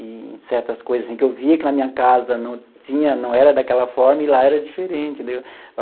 E em certas coisas em que eu via que na minha casa não tinha, não era daquela forma e lá era diferente, entendeu?